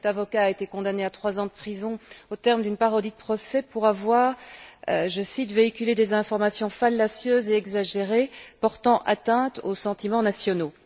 Cet avocat a été condamné à trois ans de prison au terme d'une parodie de procès pour avoir, je cite, véhiculé des informations fallacieuses et exagérées portant atteinte aux sentiments nationaux.